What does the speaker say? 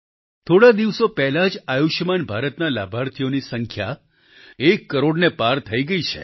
થોડા દિવસો પહેલાં જ આયુષ્યમાન ભારત ના લાભાર્થીઓની સંખ્યા એક કરોડની પાર થઈ ગઈ છે